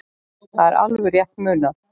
Það er alveg rétt munað.